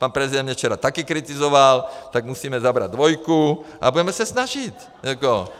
Pan prezident mě včera taky kritizoval, tak musíme zabrat dvojku a budeme se snažit.